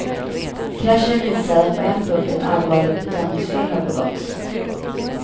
Kraschen visar att på en punkt ett allvarligt bedömningsfel har begåtts.